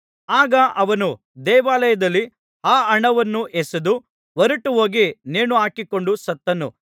ಆಗ ಅವನು ದೇವಾಲಯದಲ್ಲಿ ಆ ಹಣವನ್ನು ಎಸೆದು ಹೊರಟುಹೋಗಿ ನೇಣು ಹಾಕಿಕೊಂಡು ಸತ್ತನು